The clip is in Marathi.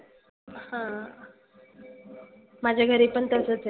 हं माझ्या घरी पण तसच आहे.